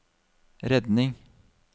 redning